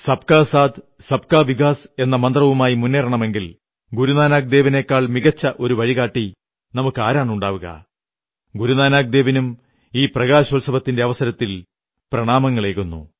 സബ്കാ സാഥ് സബ്കാ വികാസ് എന്ന മന്ത്രവുമായി മുന്നേറണമെങ്കിൽ ഗുരുനാനക് ദേവിനെക്കാൾ മികച്ച ഒരു വഴികാട്ടി നമുക്കാരാണുണ്ടാവുക ഗുരുനാനക് ദേവിനും ഈ പ്രകാശോത്സവത്തിന്റെ അവസരത്തിൽ പ്രണാമങ്ങളേകുന്നു